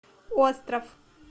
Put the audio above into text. остров